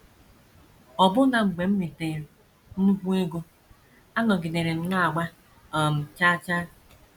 Ọbụna mgbe m ritere nnukwu ego, anọgidere m na - agba um chaa chaa.